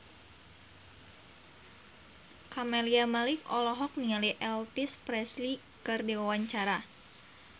Camelia Malik olohok ningali Elvis Presley keur diwawancara